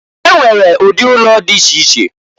E nwere ụdị ụnọ di iche iche.